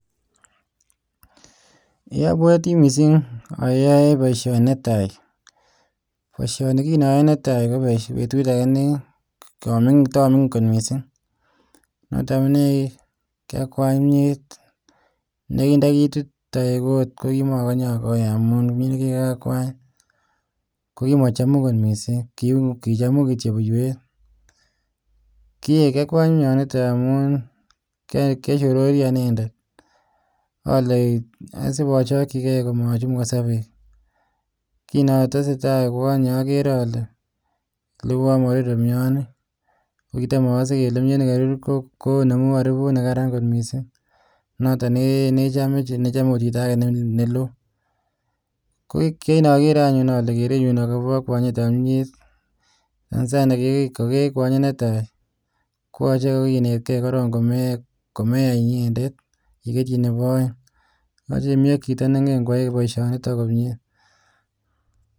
Apwatiii mising aaae poishoni netaii apwatiii mising akwanye koagitikiin neaa apwati aaae poishoni netaii komaganye alot nikocham cham. chito kimnyanii ...konpaoishani komeche imii AK Chito neingen koai poishoniii